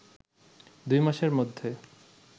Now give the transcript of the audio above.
দুই মাসের মধ্যে